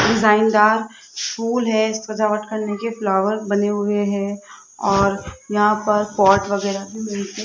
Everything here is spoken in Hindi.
डिजाइनदार फूल है इस सजावट करने के फ्लावर बने हुए हैं और यहां पर पॉट वगैरा भी मिलते --